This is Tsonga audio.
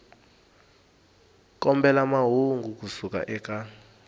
kombela mahungu ku suka eka